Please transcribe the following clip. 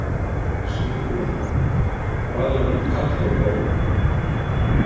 Sighvatur Jónsson: Hvað eru margir karlar um borð núna?